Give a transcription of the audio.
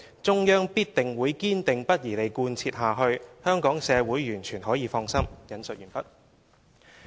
中央必定會堅定不移地貫徹下去。香港社會完全可以放心。